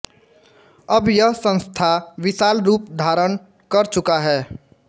अब यह संस्थान विशाल रूप धारण कर चुका है